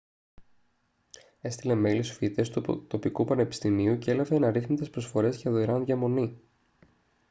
έστειλε μέιλ στους φοιτητές του τοπικού πανεπιστημίου και έλαβε αναρίθμητες προσφορές για δωρεάν διαμονή